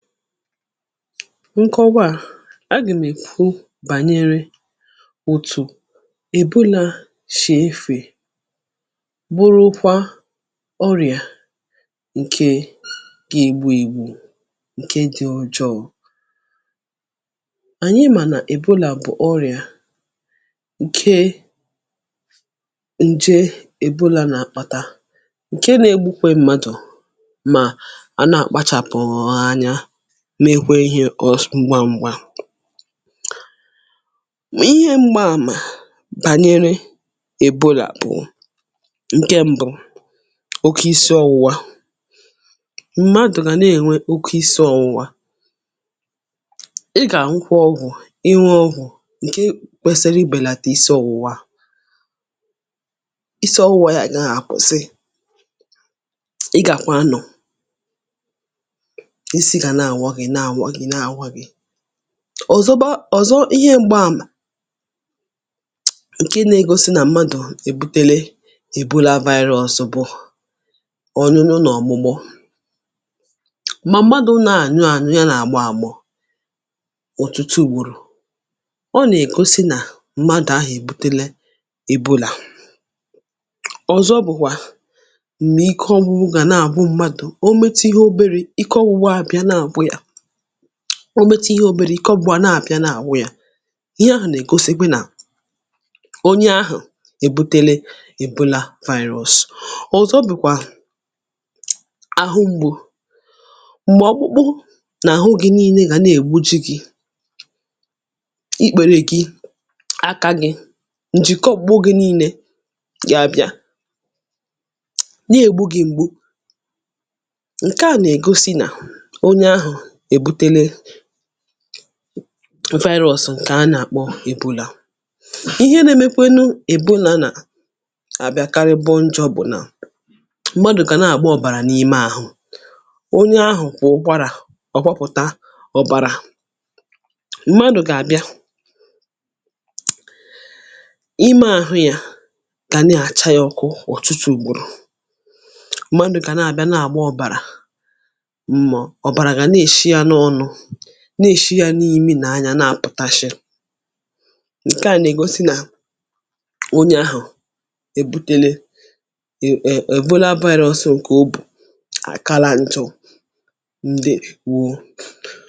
nkọgwa à, um agà m̀ èkwu bànyere utù èbulà shì efè, bụrụkwa ọrịà ǹke gȧ igbu̇ igbu̇ ǹke dị̇ ojọọ̇. um ànyị mà nà èbulà bụ̀ ọrịà ǹke ǹje èbulà nà àkpàta, ǹke nà egbukwe mmadụ̀, mà a na-àkpachàpụ̀ọ̀ ha anya, mee hwee ihe ọ̀s mgbangbȧ. Mà ihe m̀gba àmà bànyere èbolà bụ̀ ǹke mbụ̇ — oke isi ọ̇wụ̇wȧ; um m̀madụ̀ gà nà-ènwe oke isi̇ ọ̇wụ̇wȧ, ị gà nkwa ọ̀gwụ̀, inwe ọwụ̀ ǹke kwesiri ibèlàtà, isi̇ ọ̇wụ̀wa, isi̇ ọ̇wụ̇wȧ yà àgaa àkwụsị; ị gàkwa nọ̀ ọ̀zọba ọ̀zọ. um ihe m̀gbaàmà ǹke nė-egosi nà mmadụ̀ èbutele èbolȧ vaịrịọ bụ̀ ọsụ̇gbụ̇, ọ̀nyụnyụ nà ọ̀gbụgbọ; um mà mmadụ̇ nà-ànyụ ànyụ ya, nà-àgba àgbọ̀ ọ̀tụtụ ùwòrò, ọ nègosi nà mmadụ̀ ahụ̀ èbutele èbolà. Ọ̀zọ bụ̀kwà m̀gbè ike ọ̇gwụ̇wụ̇ gà na-àbụ mmadụ̀ o metu ihe oberė; ike ọ̇gwụ̇wụ̇ àbịa na-àgba yȧ, ọ bịata ihe oberė, ike ọ̀gbụ̀ga na-àpịa n’àwụ ya. ihe ahụ̀ nà-ègosikwe nà onye ahụ̀ èbutele èbụla virus. Ọ̀zọ bụ̀kwà àhụ mgbụ̇, um m̀gbè ọkpụkpụ nà àhụ gị nii̇nė gà nà-ègbuji gị, ikpėrė gị, aka gị, ǹjìkọgbo gị, nii̇nė gị a bịa nà-ègbu gị̇; m̀gbè ǹke à nà-ègosi nà onye ahụ̀ m virus ǹkè a nà-àkpọ èbula. ihe nȧ-ėmékwėnu èbu nà nà àbịa karịbọ njọ̇ bụ̀ nà m̀gbè adụ̀kà nà-àgba ọ̀bàrà n’ime àhụ onye ahụ̀, um kwà ụgbarà ọkwapụ̀ta ọ̀bàrà; m̀gbè adụ̀kà àbịa, m̀gbè ahụ yȧ kà nà-àcha yȧ ọkụ ọ̀tụtụ ùgburu; um m̀gbè adụ̀kà nà-àbịa, nà-àgba ọbàrà, nà-èshi yȧ n’ime nà anya, nà a pụ̀tashị̀. ǹkẹ̀ a nà-ègosi nà onye ahụ̀ èbutele èbola vaịrẹ, ọsị ǹkẹ̀ obù àkala nchọ ǹdị̇ wụ̇.